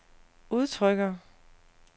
udtrykker